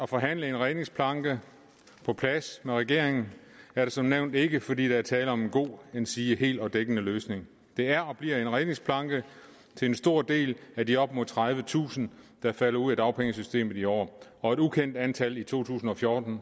forhandle en redningsplanke på plads med regeringen er det som nævnt ikke fordi der er tale om en god endsige helt og dækkende løsning det er og bliver en redningsplanke til en stor del af de op imod tredivetusind der falder ud af dagpengesystemet i år og et ukendt antal i to tusind og fjorten